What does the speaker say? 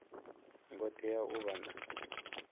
ngo tea u vha na